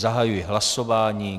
Zahajuji hlasování.